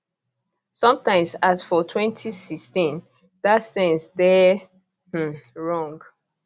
sometimes as for 2016 dat sense dey um wrong